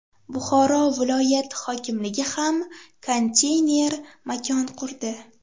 Buxoro viloyati hokimligi ham konteyner makon qurdi .